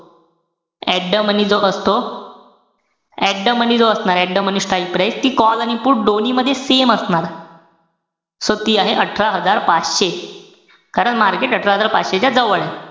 At the money जो असतो at the money जो असणारे, at the money strike price ती call आणि put दोन्ही मध्ये same असणार. so ती आहे अठरा हजार पाचशे. कारण market अठरा हजार पाचशे च्या जवळे.